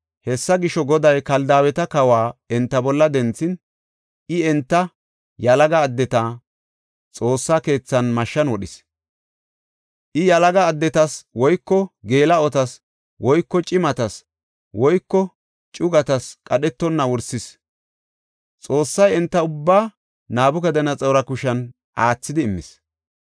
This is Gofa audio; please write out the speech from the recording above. Hessa gisho, Goday Kaldaaweta kawa enta bolla denthin, I enta yalaga addeta Xoossa keethan mashshan wodhis. I yalaga addetas woyko geela7otas woyko cimatas woyko ceegatas qadhetonna wursis. Xoossay enta ubbaa Nabukadanaxoora kushen aathidi immis.